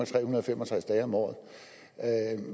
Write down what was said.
tre hundrede og fem og tres dage om året